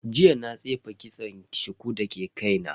Jiya na tsefe kitson shuku dake kaina.